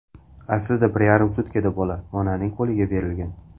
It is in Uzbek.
Aslida bir yarim sutkada bola onaning qo‘liga berilgan.